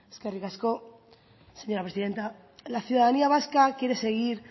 eskerrik asko señora presidenta la ciudadanía vasca quiere seguir